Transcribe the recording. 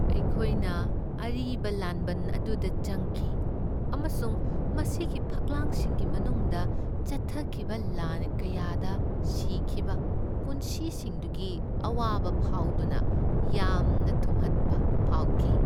ꯑꯩꯈꯣꯏꯅ ꯑꯔꯤꯕ ꯂꯥꯟꯕꯟ ꯑꯗꯨꯗ ꯆꯪꯈꯤ ꯑꯃꯁꯨꯡ ꯃꯁꯤꯒꯤ ꯐꯛꯂꯥꯡꯁꯤꯡꯒꯤ ꯃꯅꯨꯡꯗ ꯆꯠꯊꯈꯤꯕ ꯂꯥꯟ ꯀꯌꯥꯗ ꯁꯤꯈꯤꯕ ꯄꯨꯟꯁꯤꯁꯤꯡꯗꯨꯒꯤ ꯑꯋꯥꯕ ꯐꯥꯎꯗꯨꯅ ꯌꯥꯝꯅ ꯊꯨꯝꯍꯠꯄ ꯐꯥꯎꯈꯤ꯫